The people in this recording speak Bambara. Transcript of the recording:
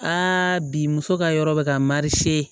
Aa bi muso ka yɔrɔ bɛ ka marie